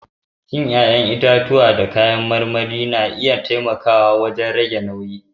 Cin 'ƴa'ƴantitatuwa da kayan marmari na iya taimakawa wajen rage nauyi.